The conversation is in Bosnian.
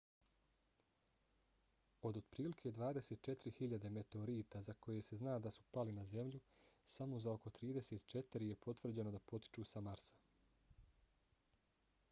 od otprilike 24.000 meteorita za koje se zna da su pali na zemlju samo za oko 34 je potvrđeno da potiču sa marsa